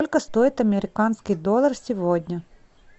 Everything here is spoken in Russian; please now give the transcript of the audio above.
сколько стоит американский доллар сегодня